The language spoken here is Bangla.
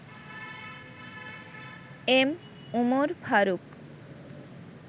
এম. উমর ফারুক